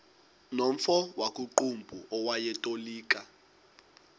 nomfo wakuqumbu owayetolika